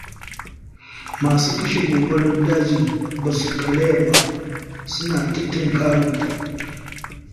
Masu kashe gobarar dajin ba su karaya ba, suna ta tinkarar ta.